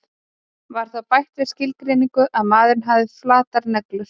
var þá bætt við skilgreininguna að maðurinn hefði flatar neglur